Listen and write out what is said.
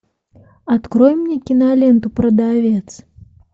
открой мне киноленту продавец